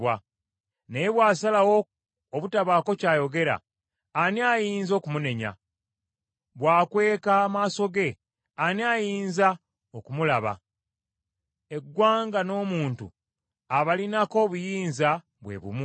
Naye bw’asalawo obutabaako ky’ayogera, ani ayinza okumunenya? Bwakweka amaaso ge ani ayinza okumulaba? Eggwanga n’omuntu abalinako obuyinza bwe bumu;